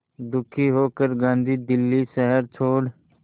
दुखी होकर गांधी दिल्ली शहर छोड़